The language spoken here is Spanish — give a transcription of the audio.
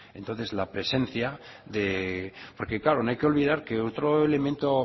porque claro no hay que olvidar que otro elemento